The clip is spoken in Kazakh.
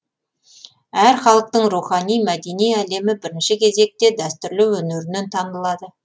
әр халықтың рухани мәдени әлемі бірінші кезекте дәстүрлі өнерінен танылады